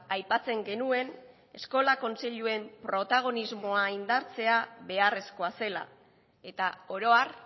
aipatzen genuen eskola kontseiluen protagonismoa indartzea beharrezkoa zela eta oro har